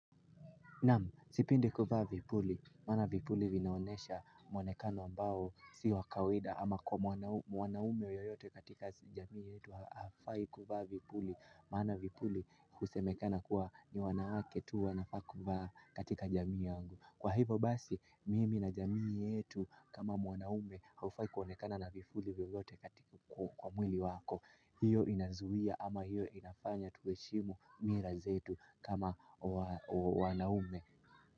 Naam, sipendi kuvaa vipuli, maana vipuli vinaonesha mwonekano ambao si wa kawida ama kwa mwanaume yoyote katika jamii yetu hafai kuvaa vipuli, maana vipuli husemekana kuwa ni wanawake tu wanafaa kuvaa katika jamii yangu. Kwa hivo basi mimi na jamii yetu kama mwanaume haufai kuonekana na vifuli vyovyote katika kwa mwili wako. Hiyo inazuia ama hiyo inafanya tueshimu mila zetu kama wanaume.